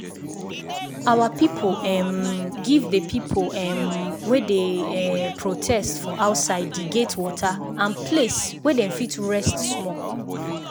our people um give d people um wey dey um protest for outside d gate water and place way dem fit rest small